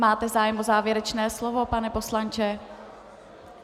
Máte zájem o závěrečné slovo, pane poslanče?